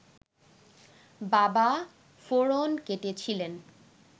বাবা ফোঁড়ন কেটেছিলেন